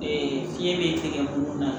fiɲɛ be tigɛ mun na